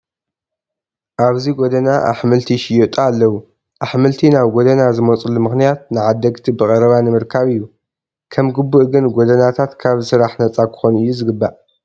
ኣብዚ ጐደና ኣሕምልቲ ይሽየጡ ኣለዉ፡፡ ኣሕምልቲ ናብ ጐደና ዝመፁሉ ምኽንያት ንዓደግቲ ብቐረባ ንምርካብ እዩ፡፡ ከም ግቡእ ግን ጎደናታት ካብዚ ስራሕ ነፃ ክኾኑ እዩ ዝግባእ፡፡